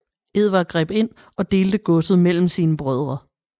Edvard greb ind og delte godset mellem sine brødre